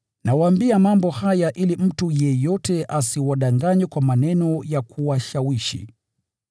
Nawaambia mambo haya ili mtu yeyote asiwadanganye kwa maneno ya kuwashawishi.